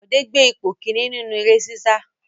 Bọ̀dé gbé ipò kìíní nínú eré sísá.